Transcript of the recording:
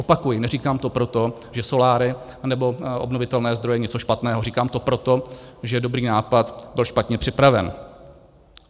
Opakuji, neříkám to proto, že soláry anebo obnovitelné zdroje jsou něco špatného, říkám to proto, že dobrý nápad byl špatně připraven.